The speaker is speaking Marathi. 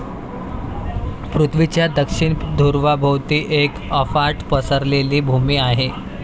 पृथ्वीच्या दक्षिण धृवाभोवती एक अफाट पसरलेली भूमी आहे.